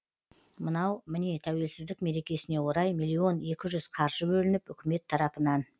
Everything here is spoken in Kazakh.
мынау міне тәуелсіздік мерекесіне орай миллион екі жүз қаржы бөлініп үкімет тарапынан